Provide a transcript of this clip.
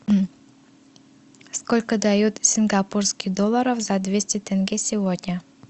сколько дают сингапурских долларов за двести тенге сегодня